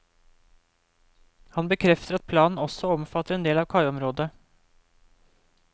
Han bekrefter at planen også omfatter en del av kaiområdet.